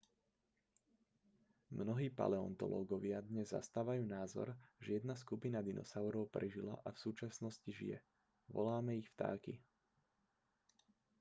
mnohí paleontológovia dnes zastávajú názor že jedna skupina dinosaurov prežila a v súčasnosti žije voláme ich vtáky